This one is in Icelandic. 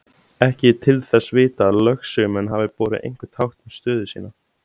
Ekki er til þess vitað að lögsögumenn hafi borið einhver tákn um stöðu sína.